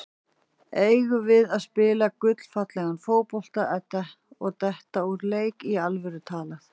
Eigum við að spila gullfallegan fótbolta og detta úr leik, í alvöru talað?